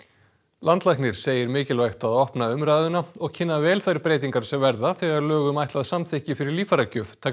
landlæknir segir mikilvægt að opna umræðuna og kynna vel þær breytingar sem verða þegar lög um ætlað samþykki fyrir líffæragjöf taka